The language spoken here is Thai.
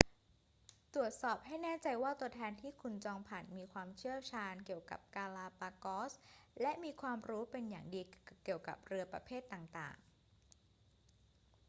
ตรวจสอบให้แน่ใจว่าตัวแทนที่คุณจองผ่านมีความเชี่ยวชาญเกี่ยวกับกาลาปากอส และมีความรู้เป็นอย่างดีเกี่ยวกับเรือประเภทต่าง ๆ